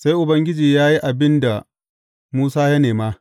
Sai Ubangiji ya yi abin da Musa ya nema.